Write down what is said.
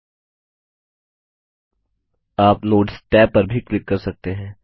आप नोट्स tabनोट्स टैब पर भी क्लिक कर सकते हैं